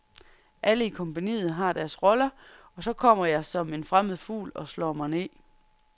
Alle i kompagniet har deres roller, og så kommer jeg som en fremmed fugl og slår mig ned.